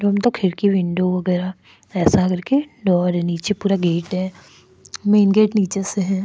Room तक खिड़की window वगैरा ऐसा कर के डोर है नीचे पूरा गेट है मेन गेट नीचे से है।